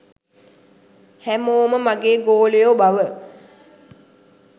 හැමෝම මගේ ගෝලයෝ බව